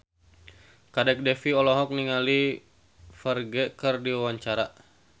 Kadek Devi olohok ningali Ferdge keur diwawancara